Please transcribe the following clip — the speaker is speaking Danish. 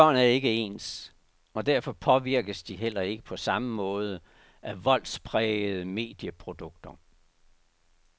Børn er ikke ens, og derfor påvirkes de heller ikke på samme måde af voldsprægede medieprodukter.